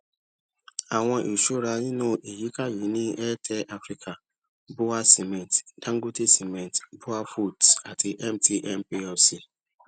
àwọn ìṣúra nínú ìyíká yìí ní airtel africa bua cement dangote cement buafoods àti mtn plc